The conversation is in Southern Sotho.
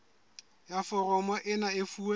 ya foromo ena e fuwe